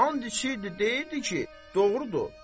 And içirdi, deyirdi ki, doğrudur.